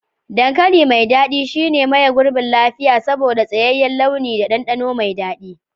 Dankali mai dadi shine maye gurbin lafiya saboda tsayayyen launi da dandano mai dadi.